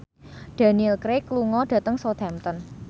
Daniel Craig lunga dhateng Southampton